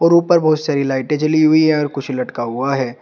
ऊपर बहुत सारी लाइटे जली हुई है और कुछ लटका हुआ है।